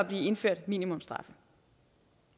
blive indført minimumsstraffe